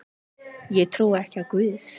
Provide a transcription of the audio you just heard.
Sá fær gæfu sem guð vill.